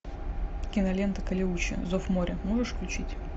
кинолента калеуче зов моря можешь включить